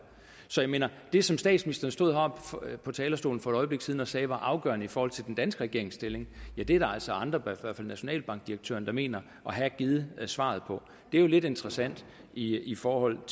så jeg mener at det som statsministeren stod heroppe på talerstolen for et øjeblik siden og sagde var afgørende i forhold til den danske regerings stilling er der altså andre i nationalbankdirektøren der mener at have givet svaret på det er jo lidt interessant i i forhold